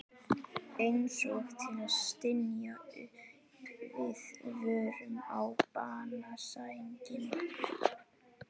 Einsog til að stynja upp viðvörun á banasænginni.